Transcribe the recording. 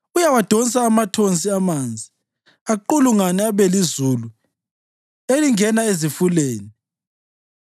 Uyawadonsa amathonsi amanzi, aqulungane abe lizulu elingena ezifuleni;